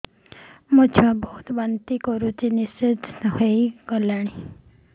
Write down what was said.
ମୋ ଛୁଆ ବହୁତ୍ ବାନ୍ତି କରୁଛି ନିସ୍ତେଜ ହେଇ ଗଲାନି